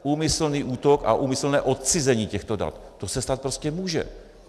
Úmyslný útok a úmyslné odcizení těchto dat, to se stát prostě může.